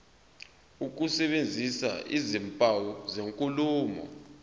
ukusebenzisa izimpawu zenkulumo